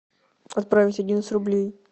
отправить одиннадцать рублей